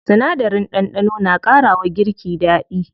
Sinadarin ɗanɗano na ƙara wa girki daɗi.